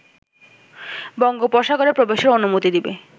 বঙ্গোপসাগরে প্রবেশের অনুমতি দিবে